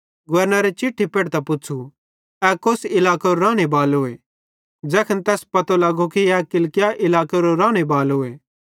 गवर्नरे चिट्ठी पेढ़तां पुच़्छ़ू ए कौस इलाकेरो रानेबालोए ज़ैखन तैस पतो लगो कि ए किलिकिया इलाकेरो रानेबालोए